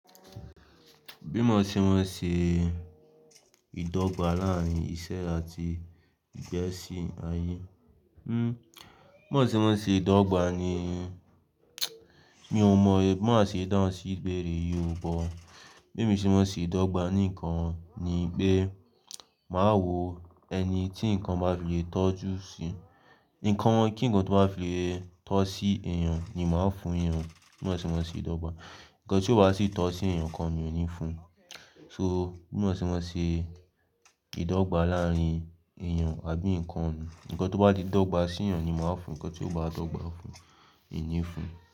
Bí mò ń ṣe mọ ṣe ìdọ́gba láàárín iṣẹ́ àti ìgbésí ayé. Mó ń ṣe mọ ṣe ìdọ́gba ni, mi ò mọ è bi má ṣe dán sí ìgbérè yì ó Bí mo ṣe mọ ṣe ìdọ́gba nìkan ni pé màá wo ẹni tí nǹkan bá fi lè tọ́jú si. Ìǹkan wọn kíǹkan tó bá fi lè tọ́ sí èèyàn ni màá fún èèyàn. Bí mò ṣe mọ ṣe ìdọ́gba. Ìǹkan tí ó bá sì tọ́ sí èèyàn kan mi òní fún. So bí mò ṣe mọ ṣe ìdọ́gba láàárín èèyàn àbí nǹkan. Ìǹkan tó bá di ìdọ́gba sí èèyàn ni màá fún, ǹkan tí ò bá dọ́gba fún mí òní fún.